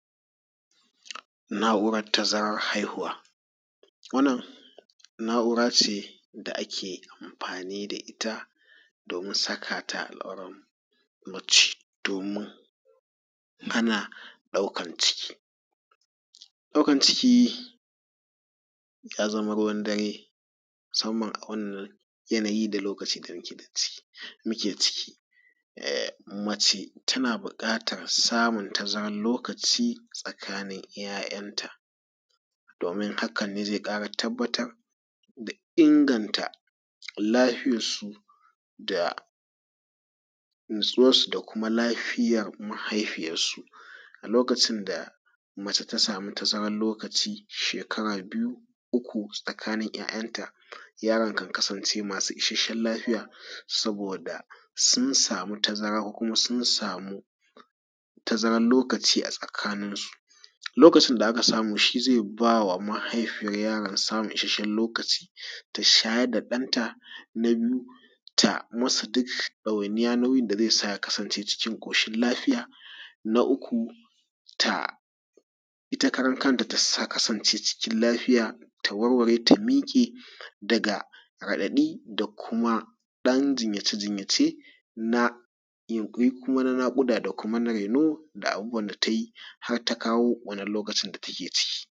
Na'urar tazarar haihuwa. Wannan na'ura ce da ake amfani da ita domin saka ta a al'aurar mace domin hana ɗaukan ciki. Ɗaukan ciki ya zama ruwan dare musamman a wannan yanayi da loakaci da muke ɗan ciki muke ciki. Um Mace tana buƙatar samun tazarar lokaci tsakanin 'ya'yanta domin hakan ne zai ƙara tabbatar da inganta lafiyarsu da natsuwarsu da kuma lafiyar mahaifiyarsu a lokacin da mace ta samu tazarar lokaci shekara biyu, uku tsakanin ya'yanta. Yaran kan kasance masu isasshen lafiya, saboda sun samu tazara ko kuma sun samu tazarar lokaci a tsakaninsu. Lokacin da aka samu shi zai ba wa mahaifiyar yaran samun isasshen lokaci ta shayar da ɗanta. Na biyu, ta musu duk dawainiya nauyin da zai sa ya kasance cikin ƙoshin lafiya. Na uku, ta ita karan kanta ta sa kasance cikin lafiya ta warware ta miƙe daga radaɗi kuma ɗan jinyace jinyace na yunƙuri kuma na naƙuda da kuma na raino na abubuwan da ta yi har ta kawon wannan lokacin da take ciki.